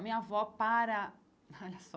A minha avó para... Olha só.